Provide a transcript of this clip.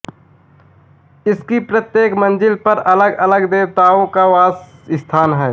इसकी प्रत्येक मंजिल पर अलग अलग देवताओँ का वास स्थान हैं